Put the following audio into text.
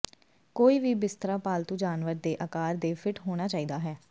ਕੋਈ ਵੀ ਬਿਸਤਰਾ ਪਾਲਤੂ ਜਾਨਵਰ ਦੇ ਆਕਾਰ ਦੇ ਫਿੱਟ ਹੋਣਾ ਚਾਹੀਦਾ ਹੈ